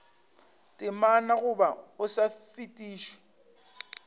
temana goba o sa fetišwe